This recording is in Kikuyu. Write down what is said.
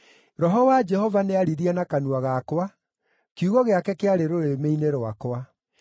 “Roho wa Jehova nĩaririe na kanua gakwa; kiugo gĩake kĩarĩ rũrĩmĩ-inĩ rwakwa.